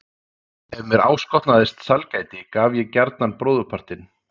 Ef mér áskotnaðist sælgæti gaf ég gjarnan bróðurpartinn.